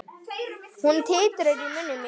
Hún titrar í munni mér.